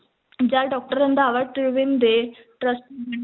ਜਦ doctor Randhawa Tribune ਦੇ